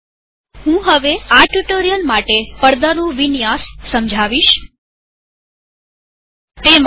હું હવે આ ટ્યુ્ટોરીઅલ માટે પડદાનું વિન્યાસસ્ક્રીન કોન્ફીગરેશન સમજાવીશ